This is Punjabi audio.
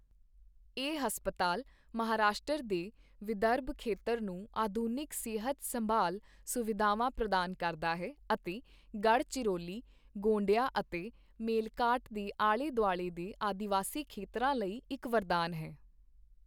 ਇਹ ਹਸਪਤਾਲ ਮਹਾਰਾਸ਼ਟਰ ਦੇ ਵਿਦਰਭ ਖੇਤਰ ਨੂੰ ਆਧੁਨਿਕ ਸਿਹਤ ਸੰਭਾਲ ਸੁਵਿਧਾਵਾਂ ਪ੍ਰਦਾਨ ਕਰਦਾ ਹੈ ਅਤੇ ਗੜ੍ਹਚਿਰੌਲੀ, ਗੋਂਡੀਆ ਅਤੇ ਮੇਲਘਾਟ ਦੇ ਆਲ਼ੇ ਦੁਆਲ਼ੇ ਦੇ ਆਦਿਵਾਸੀ ਖੇਤਰਾਂ ਲਈ ਇੱਕ ਵਰਦਾਨ ਹੈ।